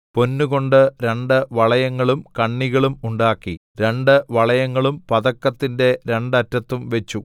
പൊന്ന് കൊണ്ട് രണ്ട് വളയങ്ങളും കണ്ണികളും ഉണ്ടാക്കി രണ്ട് വളയങ്ങളും പതക്കത്തിന്റെ രണ്ട് അറ്റത്തും വച്ചു